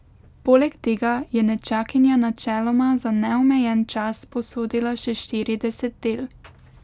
Poleg tega je nečakinja načeloma za neomejen čas posodila še štirideset del.